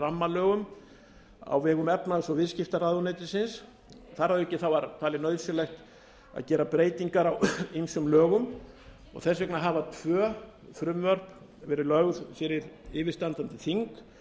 rammalögum á vegum efnahags og viðskiptaráðuneytisins þar að auki var talið breytingar á ýmsum lögum og þess vegna hafa tvö frumvörp verið lögð fyrir yfirstandandi þing